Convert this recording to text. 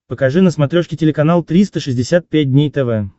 покажи на смотрешке телеканал триста шестьдесят пять дней тв